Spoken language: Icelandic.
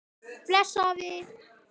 Bless afi.